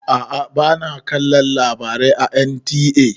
A'a ba na kalon labarai à NTA.